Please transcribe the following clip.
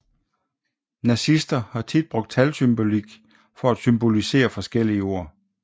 Nazister har tit brugt talsymbolik for at symbolisere forskellige ord